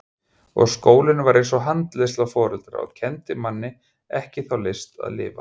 Og skólinn var eins og handleiðsla foreldra og kenndi manni ekki þá list að lifa.